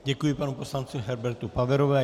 Děkuji panu poslanci Herbertu Paverovi.